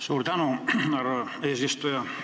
Suur tänu, härra eesistuja!